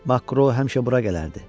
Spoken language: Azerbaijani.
Makro həmişə bura gələrdi.